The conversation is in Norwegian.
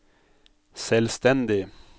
selvstendig